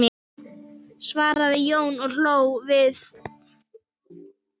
svaraði Jón og hló við.